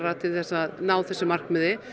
til að ná þessu markmiði